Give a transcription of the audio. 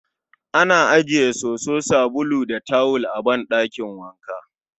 Ana ajiye soso, sabulu, da tawul a ɗakin wanka